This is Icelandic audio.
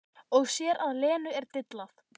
Og sér að Lenu er dillað.